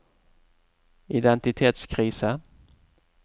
identitetskrise